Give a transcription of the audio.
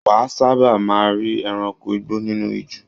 Wà a sábà máa rí ẹranko igbó nínú ijù.